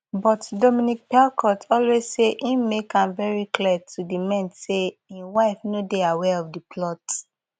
but dominique pelicot always say im make am very clear to di men say im wife no dey aware of di plot